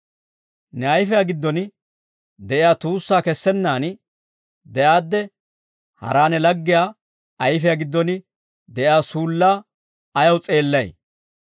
«Ne ayfiyaa giddon de'iyaa tuussaa kessennaan de'aadde hara ne laggiyaa ayfiyaa giddon de'iyaa suullaa ayaw s'eellay?